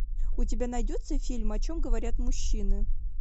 у тебя найдется фильм о чем говорят мужчины